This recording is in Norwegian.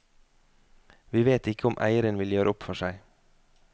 Vi vet ikke om eieren vil gjøre opp for seg.